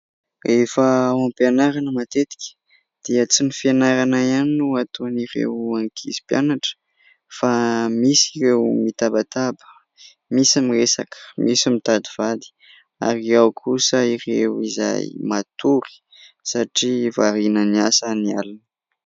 Rehefa ao am-pianarana matetika dia tsy ny fianarana ihany no ataon'ireo ankizy mpianatra fa misy ireo mitabataba misy miresaka misy mitady vady ary ao kosa ireo izay matory satria variana ny asa ny alina